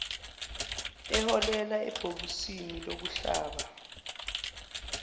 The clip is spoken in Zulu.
eholela ebhokisini lokuhlaba